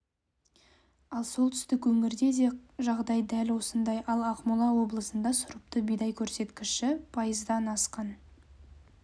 ал солтүстік өңірде де жағдай дәл осындай ал ақмола облысында сұрыпты бидай көрсеткіші пайыздан асқан